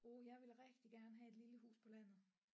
Uh jeg ville rigtig gerne have et lille hus på landet